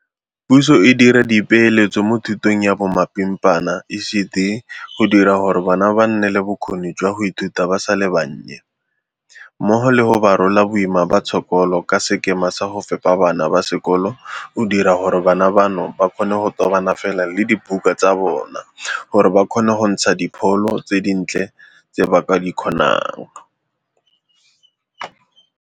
Puso e dira dipeeletso mo thutong ya bomapimpana, ECD, go dira gore bana ba nne le bokgoni jwa go ithuta ba sa le bannye, mmogo le go ba rola boima ba tshokolo ka sekema sa go fepa bana ba sekolo go dira gore bana bano ba kgone go tobana fela le dibuka tsa bona gore ba kgone go ntsha dipholo tse dintle tse ba ka di kgonang.